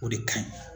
O de kaɲi